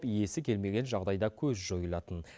иесі келмеген жағдайда көз жойылатын